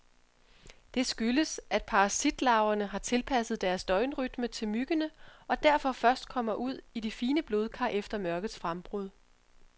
Det skyldes, at parasitlarverne har tilpasset deres døgnrytme til myggene, og derfor først kommer ud i de fine blodkar efter mørkets frembrud.